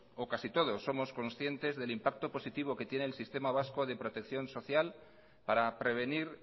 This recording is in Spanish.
o casi todos somos conscientes del impacto positivo que tiene el sistema vasco de protección social para prevenir